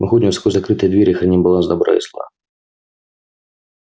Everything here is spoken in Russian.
мы ходим сквозь закрытые двери и храним баланс добра и зла